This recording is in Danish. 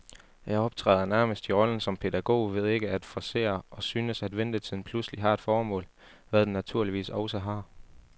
Jeg optræder nærmest i rollen som pædagog ved ikke at forcere, og synes, at ventetiden pludselig har et formål, hvad den naturligvis også har.